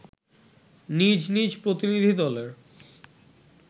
নিজ নিজ প্রতিনিধি দলের